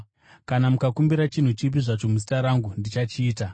Kana mukakumbira chinhu chipi zvacho muzita rangu, ndichachiita.